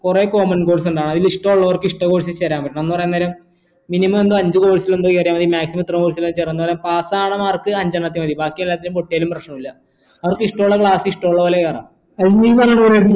കൊറേ common course ഉണ്ട് അയിൽ ഇഷ്ടള്ളർക്ക് ഇഷ്ട course ചേരാൻ പറ്റും എന്ന് പറയുന്നേരം അഞ്ചു course എന്തോ കേറിയ മതി maximum ഇത്ര course ല pass അവണ mark അഞ്ചണത്തിൽ മതി ബാക്കി എല്ലാത്തിലും പൊട്ടിയാലും പ്രശ്നമില്ല അവർക്ക് ഇഷ്ടമുള്ള class ഇഷ്ടമുള്ള പോലെ കയറാം